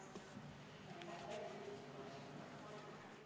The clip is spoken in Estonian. Istungi lõpp kell 12.44.